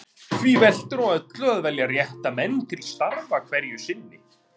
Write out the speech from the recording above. Því veltur á öllu að velja rétta menn til starfa hverju sinni.